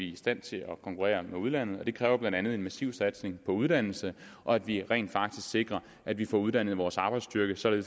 i stand til at konkurrere med udlandet det kræver blandt andet en massiv satsning på uddannelse og at vi rent faktisk sikrer at vi får uddannet vores arbejdsstyrke så vi